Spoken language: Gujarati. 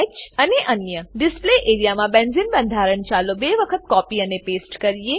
ડિસ્પ્લે એઆરઇએ ડિસ્પ્લે એરિયા માં બેન્ઝીન બંધારણ ચાલો બે વખત કોપી અને પેસ્ટ કરીએ